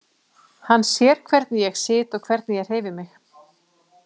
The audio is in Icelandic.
Hann sér hvernig ég sit og hvernig ég hreyfi mig.